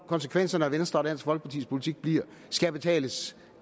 konsekvensen af venstre og dansk folkepartis politik skal betales